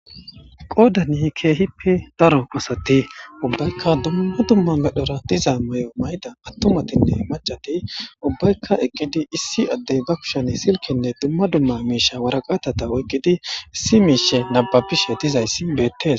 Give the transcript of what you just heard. Qodan keehippe daro asat ubbayka dumma dumma medhora diza mayo mayida. Atumatinne mac'ati ubbayka eqid issi adey be kushen silkenne dumma dumma misha waraqatata oykid issi mishe nababishe dizays betes.